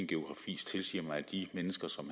geografi tilsiger mig at de mennesker som